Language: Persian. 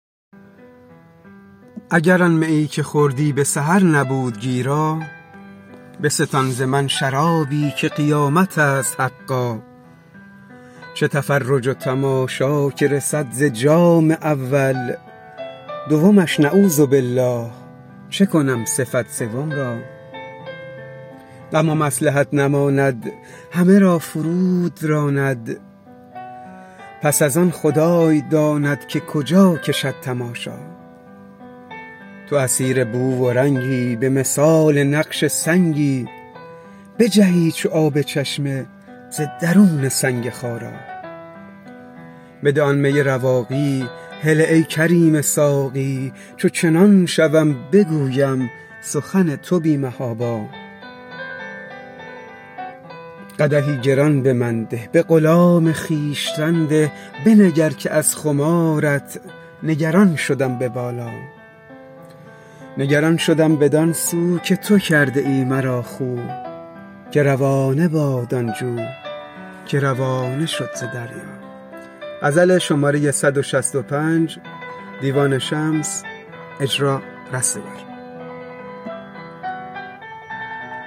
اگر آن میی که خوردی به سحر نبود گیرا بستان ز من شرابی که قیامت است حقا چه تفرج و تماشا که رسد ز جام اول دومش نعوذبالله چه کنم صفت سوم را غم و مصلحت نماند همه را فرو دراند پس از آن خدای داند که کجا کشد تماشا تو اسیر بو و رنگی به مثال نقش سنگی بجهی چو آب چشمه ز درون سنگ خارا بده آن می رواقی هله ای کریم ساقی چو چنان شوم بگویم سخن تو بی محابا قدحی گران به من ده به غلام خویشتن ده بنگر که از خمارت نگران شدم به بالا نگران شدم بدان سو که تو کرده ای مرا خو که روانه باد آن جو که روانه شد ز دریا